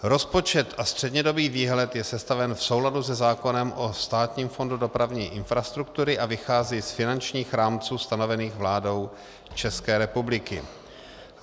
Rozpočet a střednědobý výhled je sestaven v souladu se zákonem o Státním fondu dopravní infrastruktury a vychází z finančních rámců stanovených vládou České republiky.